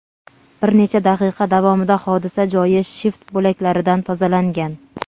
Bir necha daqiqa davomida hodisa joyi shift bo‘laklaridan tozalangan.